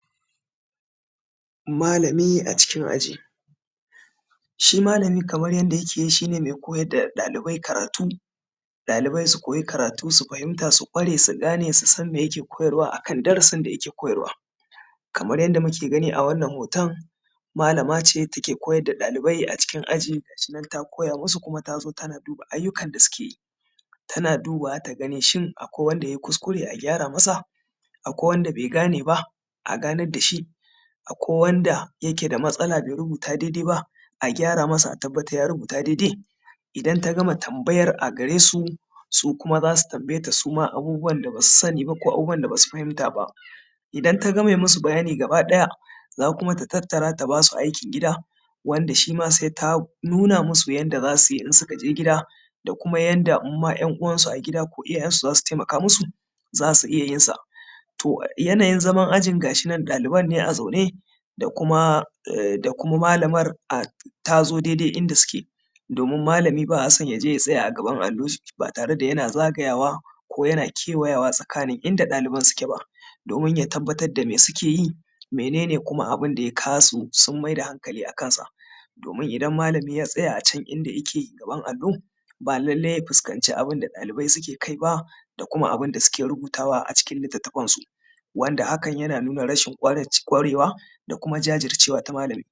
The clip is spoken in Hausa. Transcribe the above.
Malami a cikin aji shi malami, kamar yadda yake yi, shi ne me koyar da ɗalibai karatu, ɗalibai su koyi karatu, su fahimta, su kware, su gane, su san me yake koyarwa akan darsin da yake koyarwa. Kamar yadda muke gani a wannan hoto, malama ce take koyar da ɗalibai a cikin aji, gashi nan, ta koya musu, kuma ta zo tana duba ayyukan da suke yi, tana dubawa ta gani shin akwai wanda ya yi kuskure a gyara masa, akwai wanda be gane ba, a ganar da shi, akwai wanda ke da matsala, be rubuta dai-dai ba, a gyara masa, a tabbatar ya rubuta dai-dai. idan ta gama tambayar a garesu, su ma zasu tambayeta abubbuwan da ba su sani ba, ko abubbuwan da ba su fahimta ba. Idan ta gama musu bayani gabaɗaya, za kuma ta tattara ta ba su aikin-gida, wanda shi ma se ta nuna musu yadda za su yi, in su ka je gida, da kuma yadda in ma ‘yan’uwansu a gida ko iyayensu za su taimaka mu su, za su iya yin sa. To, yanayin zaman ajin ga yi nan ɗaliban ne a zaune, da kuma malamar a ta zo dai-dai inda suke, domin malami ba a so ya tsaya a gaban allo ba tare da zagayawa, ko yana kewayawa tsakanin inda ɗalibai suke ba, domin a tabbatar da me suke yi, mene ne kuma abun da ya kawo su sun mai da hankali akansa domin idan malami ya tsaya a can inda yake gaban allo, ba lallai ya fuskanci abun da ɗalibai suke yi ba, da kuma abun da suke rubutawa a ciki litattafikansu wadda hakan yana nuna rasa kwarance-kwarewa, da kuma jajircewa ta malami.